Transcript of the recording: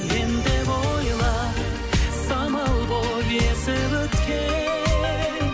мен деп ойла самал болып есіп өткен